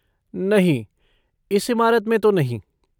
नहीं, इस इमारत में तो नहीं।